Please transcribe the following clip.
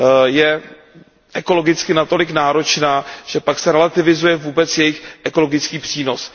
je ekologicky natolik náročná, že pak se relativizuje vůbec jejich ekologický přínos.